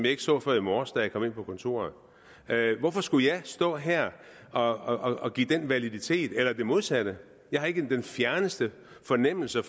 ikke så før i morges da jeg kom ind på kontoret hvorfor skulle jeg stå her og og give den validitet eller det modsatte jeg har ikke den fjerneste fornemmelse